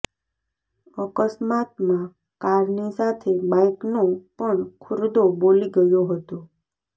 અકસ્માતમાં કારની સાથે બાઈકનો પણ ખુરદો બોલી ગયો હતો